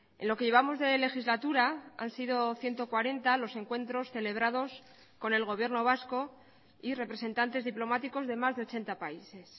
en lo que llevamos de legislatura han sido ciento cuarenta los encuentros celebrados con el gobierno vasco y representantes diplomáticos de más de ochenta países